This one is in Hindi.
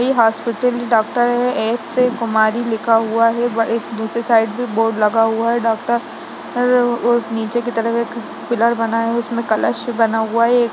इ हॉस्पिटल है डॉक्टर एस कुमारी का लिखा हुआ है व एक दूसरे साइड पे बोर्ड लगा हुआ है डॉक्टर उस नीचे के तरफ एक पिलर बना हुआ है कलश बना हुआ है।